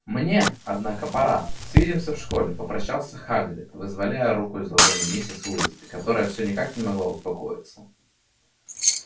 мне однако пора свидимся в школе попрощался хагрид вызволяя руку из ладоней миссис уизли которая всё никак не могла успокоиться